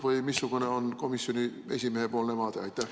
Või missugune on komisjoni esimehe vaade?